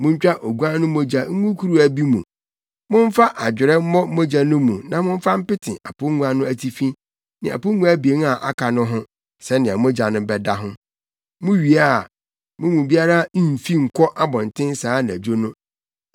Muntwa oguan no mogya ngu kuruwa bi mu. Momfa adwerɛ mmɔ mogya no mu na momfa mpete apongua no atifi ne apongua abien a aka no ho sɛnea mogya no bɛda ho. Muwie a, mo mu biara mmfi nkɔ abɔnten saa anadwo no.